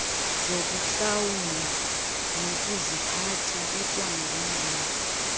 zokuhlawula nokuziphatha ikwangumbono